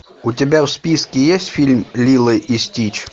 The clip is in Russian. у тебя в списке есть фильм лило и стич